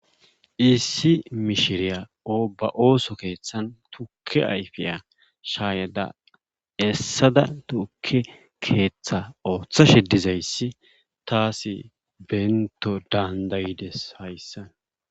Issi mishiriya ba ooso keethan tukke ayfiya shaayada essada tukke keeththa oothashe dizayssi taasi bento dandayidees hayssan.